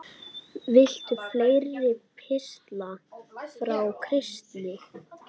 Viltu fleiri pistla frá Kristni?